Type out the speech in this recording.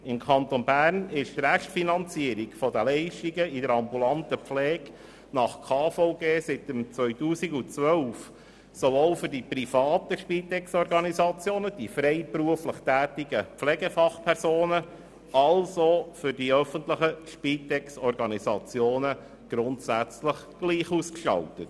Im Kanton Bern ist die Restfinanzierung der Leistungen in der ambulanten Pflege nach dem Bundesgesetz über die Krankenversicherung (KVG) seit 2012 für die privaten Spitexorganisationen, die freiberuflich tätigen Pflegefachpersonen und für die öffentlichen Spitexorganisationen grundsätzlich gleich ausgestaltet.